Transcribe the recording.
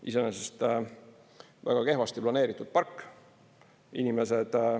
Iseenesest väga kehvasti planeeritud park.